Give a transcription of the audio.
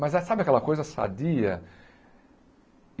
Mas é, sabe aquela coisa sadia?